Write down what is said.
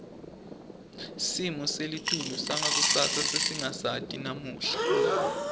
simo selitulu sangakusasa sesingasati namuhla